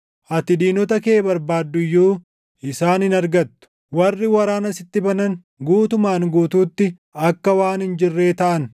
Ati diinota kee barbaadduu iyyuu, isaan hin argattu. Warri waraana sitti banan, guutumaan guutuutti akka waan hin jirree taʼan.